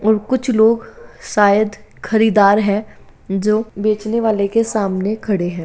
और कुछ लोग शायद खरीदार हैं जो बेचने वाले के सामने खड़े है।